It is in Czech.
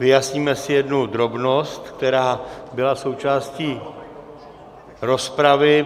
Vyjasníme si jednu drobnost, která byla součástí rozpravy.